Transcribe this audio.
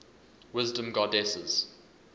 wisdom goddesses